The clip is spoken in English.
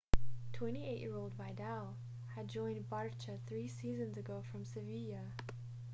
28-year-old vidal had joined barça three seasons ago from sevilla